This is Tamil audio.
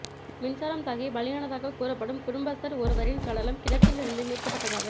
மின்சாரம் தாக்கி பலியானதாகக் கூறப்படும் குடும்பஸ்தர் ஒருவரின் சடலம் கிணற்றில் இருந்து மீட்கப்பட்டதாக